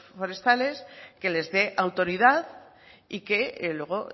forestales que les dé autoridad y que luego